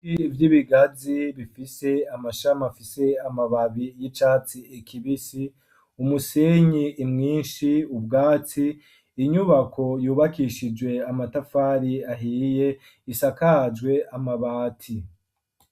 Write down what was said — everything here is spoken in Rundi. Ibiti vy'ibigazi bifise amashami afise amababi y'icasi kibisi, umusenyi mwinshi, ubwatsi inyubako yubakishijwe amatafari ahiye isakajwe amabati.